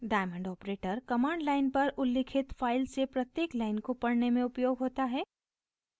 diamond operator command line पर उल्लिखित files से प्रत्येक लाइन को पढ़ने में उपयोग होता है